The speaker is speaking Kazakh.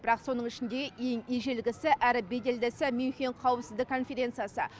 бірақ соның ішіндегі ең ежелгісі әрі беделдісі мюнхендегі қауіпсіздік конференциясы